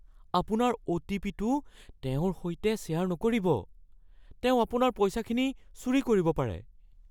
আপোনাৰ অ'.টি.পি.'টো তেওঁৰ সৈতে শ্বেয়াৰ নকৰিব। তেওঁ আপোনাৰ পইচাখিনি চুৰি কৰিব পাৰে।